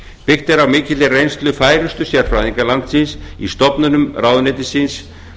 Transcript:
byggt er á mikilli reynslu færustu sérfræðinga landsins í stofnunum ráðuneytisins